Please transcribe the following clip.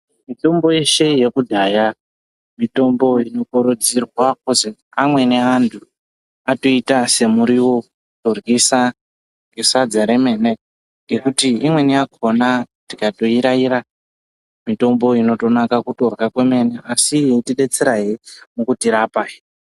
Mitombo yeshe yekudhaya mitombo inokurudzirwa kuzi amweni antu atoiita se murivo ku ryisa nge sadza remene ngekuti imweni yakona tikato iraira mitombo iyi inoto naka kutorya kwemene asi inoti detsera hee mukuti rapa.